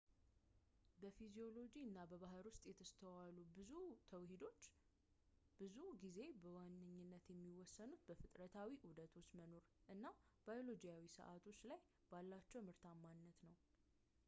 በፊዚዮሎጂ እና በባህሪ ውስጥ የተስተዋሉ ብዙ ተውሂዶች ብዙውን ጊዜ በዋነኝነት የሚወሰኑት በፍጥረታዊ ዑደቶች መኖር እና ባዮሎጂያዊ ሰዓቶች ላይ ባላቸው ምርታማነት ላይ ነው